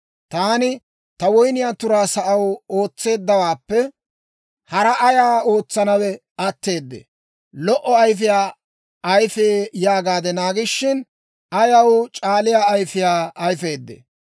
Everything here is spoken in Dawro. Taani ta woyniyaa turaa sa'aw ootseeddawaappe haraa ayaa ootsanawe atteedee? Lo"o ayfiyaa ayifee yaagaade naagishin, ayaw c'aaliyaa ayfiyaa ayfeedee?